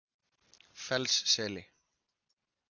Fellsseli